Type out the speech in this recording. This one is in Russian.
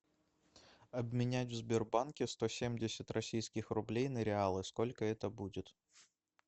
обменять в сбербанке сто семьдесят российских рублей на реалы сколько это будет